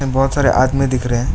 बहुत सारी आदमी दिख रहे--